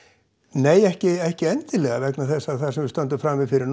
nei ekki ekki endilega vegna þess að það sem við stöndum frammi fyrir